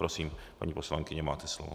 Prosím, paní poslankyně, máte slovo.